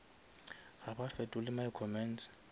ga ba fetole my comments